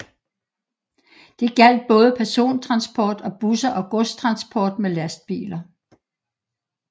Det gjaldt både persontransport med busser og godstransport med lastbiler